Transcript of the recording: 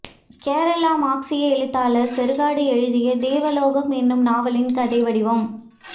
கேரள மார்க்ஸிய எழுத்தாளர் செறுகாடு எழுதிய தேவலோகம் என்னும் நாவலின் கதைவடிவம்